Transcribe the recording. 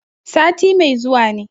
Sati mai zuwa ne.